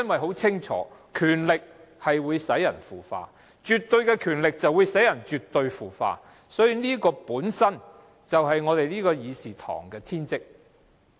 很清楚，權力會令人腐化，而絕對的權力會使人絕對的腐化，所以議會的天職就是要在議事堂內議事。